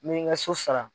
Ni n ka so sara